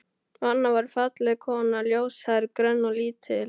Anna var falleg kona, ljóshærð, grönn og lítil.